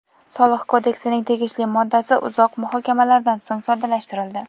Soliq kodeksining tegishli moddasi uzoq muhokamalaridan so‘ng soddalashtirildi.